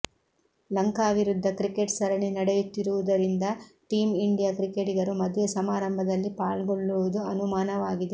ಲಂಕಾ ವಿರುದ್ಧ ಕ್ರಿಕೆಟ್ ಸರಣಿ ನಡೆಯುತ್ತಿರುವುದರಿಂದ ಟೀಂ ಇಂಡಿಯಾ ಕ್ರಿಕೆಟಿಗರು ಮದುವೆ ಸಮಾರಂಭದಲ್ಲಿ ಪಾಲ್ಗೊಳ್ಳುವುದು ಅನುಮಾನವಾಗಿದೆ